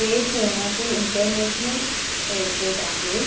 ये पुण्यातील international airport आहे.